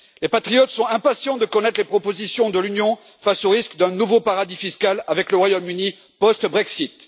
Les patriotes sont impatients de connaître les propositions de l'Union, face au risque d'un nouveau paradis fiscal avec le Royaume Uni post Brexit.